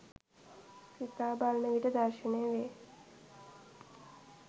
සිතා බලන විට දර්ශනය වේ.